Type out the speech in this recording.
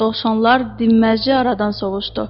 Dovşanlar dinməzcə ordan sovuşdu.